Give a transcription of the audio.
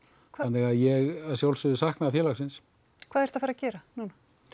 þannig að ég að sjálfsögðu sakna félagsins hvað ertu að fara að gera núna